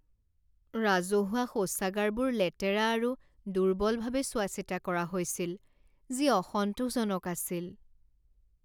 ৰাজহুৱা শৌচাগাৰবোৰ লেতেৰা আৰু দুৰ্বলভাৱে চোৱাচিতা কৰা হৈছিল, যি অসন্তোষজনক আছিল।